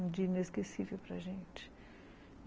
Um dia inesquecível para a gente.